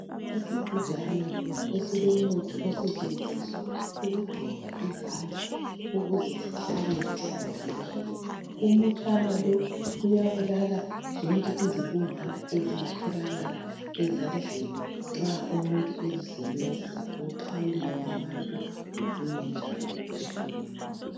Isigujana esilomuthi osetshenziswa ukugcoba izandla ukuze zihlale zihlanzekile. Umutshana lo uyabulala zonke izibungwana ezingatholakala ezandleni nxa umuntu ezisebenzisa ekuxhawuleni abantu lokunye njalo okutshiyeneyo.